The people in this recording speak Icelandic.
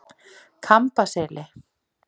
Kambaseli